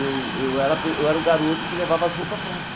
Eu eu era pe eu era o garoto que levava as roupas prontas.